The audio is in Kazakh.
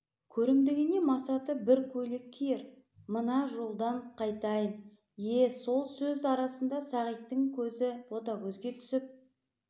көрімдігіне масаты бір көйлек киер мына жолдан қайтайын ие сол сөз арасында сағиттың кезі ботагөзге түсіп